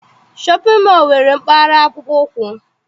Shọpịn mọọ nwere mpaghara akpụkpọ ụkwụ.